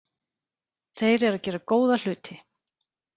Þeir eru að gera góða hluti.